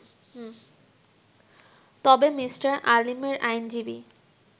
তবে মি. আলীমের আইনজীবী